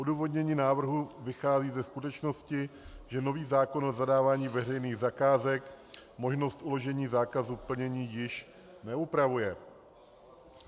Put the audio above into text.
Odůvodnění návrhu vychází ze skutečnosti, že nový zákon o zadávání veřejných zakázek možnost uložení zákazu plnění již neupravuje.